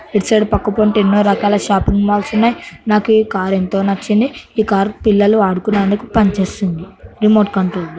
ఈటు side పక్కపొంటి ఎన్నో రకాల షాపింగ్ మాల్స్ ఉన్నాయి నాకు ఈ కార్ ఎంతో నచ్చింది ఈ కార్ పిల్లలు ఆడుకునడానికి పని చేస్తుంది రిమోట్ కంట్రోల్.